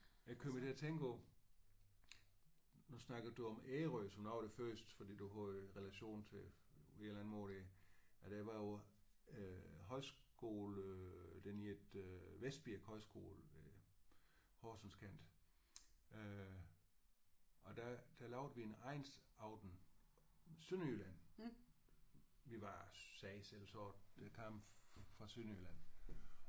Jeg er kommet til at tænke på nu snakkede du om Ærø som noget af det første fordi du har en relation til et eller andet hvor det eller det var på øh højskole den hedder Vestbirk Højskole øh Horsenskanten og der lavede vi en egnsaften Sønderjylland vi var sagde selv sådan det kom fra Sønderjylland